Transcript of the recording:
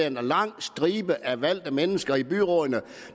en lang stribe af valgte mennesker i byrådene